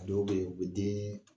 A dɔw bɛ yen u bɛ den